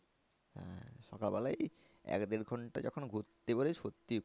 হ্যাঁ সকাল বেলাই এক দেড় ঘন্টা যখন ঘুরতে পারি সত্যি